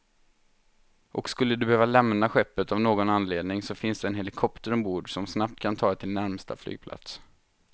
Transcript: Och skulle du behöva lämna skeppet av någon anledning så finns där en helikopter ombord, som snabbt kan ta dig till närmsta flygplats.